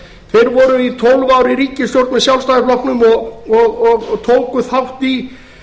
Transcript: þeir voru tólf ár í ríkisstjórn með sjálfstæðisflokknum og tóku þátt í